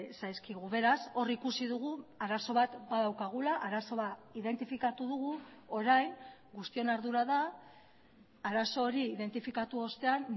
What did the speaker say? zaizkigu beraz hor ikusi dugu arazo bat badaukagula arazoa identifikatu dugu orain guztion ardura da arazo hori identifikatu ostean